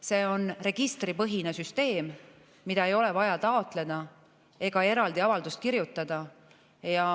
See on registripõhine süsteem, seda ei ole vaja taotleda ega selleks eraldi avaldust kirjutada.